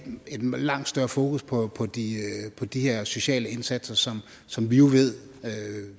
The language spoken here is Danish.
langt større fokus på de her sociale indsatser som som vi jo ved